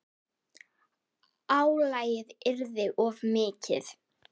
Álagið yrði of mikið.